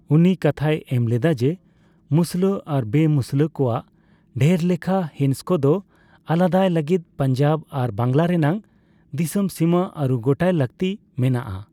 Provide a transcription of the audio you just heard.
ᱩᱱᱤ ᱠᱟᱛᱷᱟᱭ ᱮᱢ ᱞᱮᱫᱟ ᱡᱮ, ᱢᱩᱥᱞᱟᱹ ᱟᱨ ᱵᱮᱼᱢᱩᱥᱞᱟᱹ ᱠᱚᱣᱟᱜ ᱰᱷᱮᱨᱞᱮᱠᱷᱟ ᱦᱤᱸᱥ ᱠᱚᱫᱚ ᱟᱞᱟᱫᱟᱭ ᱞᱟᱹᱜᱤᱫ ᱯᱟᱧᱡᱟᱵᱽ ᱟᱨ ᱵᱟᱝᱞᱟ ᱨᱮᱱᱟᱜ ᱫᱤᱥᱚᱢ ᱥᱤᱢᱟᱹ ᱟᱹᱨᱩ ᱜᱚᱴᱟᱭ ᱞᱟᱠᱛᱤ ᱢᱮᱱᱟᱜᱼᱟ ᱾